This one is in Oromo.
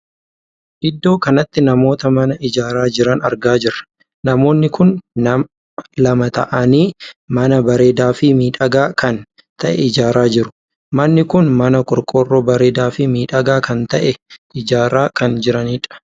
Iddoo kanatti namoota mana ijaaraa jiran argaa jirra. namoonni kun nama lama taa'anii mana bareedaa fi miidhagaa kan tahee ijaaraa jiru. manni kun mana qorqorroo bareedaa fi miidhagaa kan tahee ijaaraa kan jiranidha.